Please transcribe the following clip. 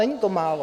Není to málo.